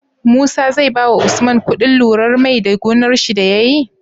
Musa zai bawa usman kuɗin lurar mai da gonar shi da yayi?